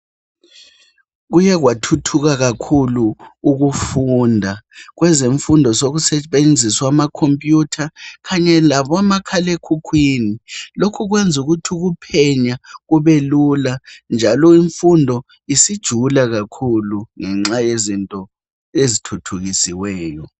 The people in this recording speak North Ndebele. Kuye kwathuthuka kakhulu ukufunda, kwezemfundo sokusetshenziswa amakhompiyutha kanye labomakhalekhukhwini lokhu kwenza ukuthi ukuphenya kubelula njalo imfundo isijula kakhulu ngenxa yezinto ezithuthukisiweyo.